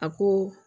A ko